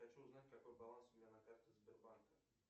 хочу узнать какой баланс у меня на карте сбербанка